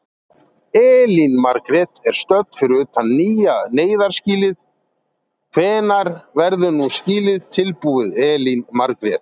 Elín Margrét er stödd fyrir utan nýja neyðarskýlið, hvenær verður nú skýlið tilbúið Elín Margrét?